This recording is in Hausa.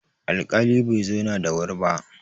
alƙali Bai zauna da wuri ba